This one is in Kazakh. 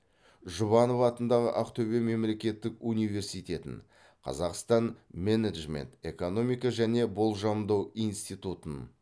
жұбанов атындағы ақтөбе мемлекеттік университетін қазақстан менеджмент экономика және болжамдау институтын